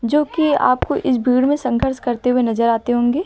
जो कि आपको इस भीड़ में संघर्ष करते हुए नजर आते होंगे।